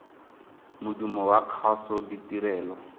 modumo wa kgaso ditirelo